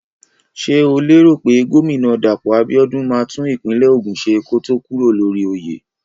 Ṣé o lérò pé gómínà Dàpọ̀ Abíọ́dún máa tún ìpínlẹ̀ Ògùn ṣe kó tó kúrò lórí oyè?